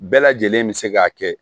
Bɛɛ lajɛlen bɛ se k'a kɛ